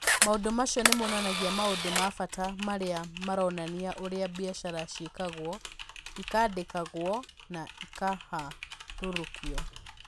Maũndũ macio nĩ monanagia maũndũ ma bata marĩa maronania ũrĩa biacara ciĩkagwo, ikandĩkagwo, na ikaharũrũkio.